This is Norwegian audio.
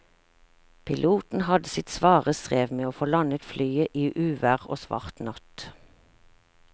Piloten hadde sitt svare strev med å få landet flyet i uvær og svart natt.